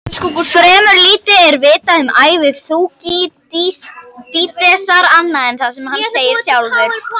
Fremur lítið er vitað um ævi Þúkýdídesar annað en það sem hann segir sjálfur.